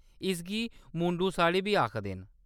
इसगी मुंडू-साड़ी बी आखदे न।